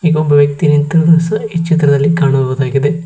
ಇಗೋಬ್ಬ ವ್ಯಕ್ತಿ ನಿಂತಿರುವುದು ಸಹ ಈ ಚಿತ್ರದಲ್ಲಿ ಕಾಣಬಹುದಾಗಿದೆ.